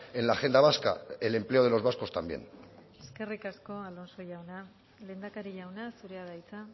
en la agenda vasca el empleo de los vascos también eskerrik asko alonso jauna lehendakari jauna zurea da hitza